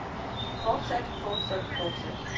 fortsat fortsat fortsat